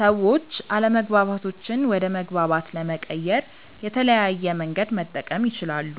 ሰዎች አለመግባባቶችን ወደ መግባባት ለመቀየር የተለያየ መንገድ መጠቀም ይችላሉ፦